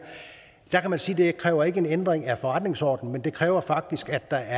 der kan man sige at det ikke kræver en ændring af forretningsordenen men det kræver faktisk at der